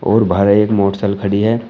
और बाहर एक मोटरसाइकल खड़ी है।